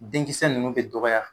Den kisɛ ninnu bɛ dɔgɔya